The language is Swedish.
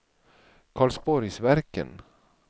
Karlsborgsverken